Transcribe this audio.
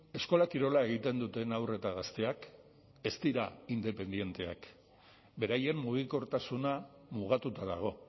eskola kirola egiten duten haur eta gazteak ez dira independenteak beraien mugikortasuna mugatuta dago